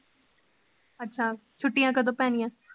ਅੱਛਾ, ਛੁੱਟਿਆਂ ਕਦੋਂ ਪੈਣੀਆਂ?